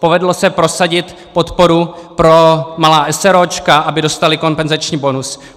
Povedlo se prosadit podporu pro malá eseróčka, aby dostala kompenzační bonus.